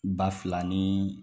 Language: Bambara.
Ba fila ni